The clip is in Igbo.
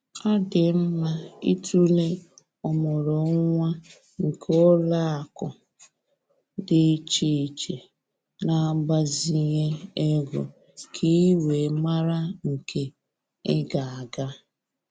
Ọ dị mma ịtụlee ọmụrụnwa nke ụlọakụ dị iche iche na-agbazinye ego ka ị wee mara nke ị ga-aga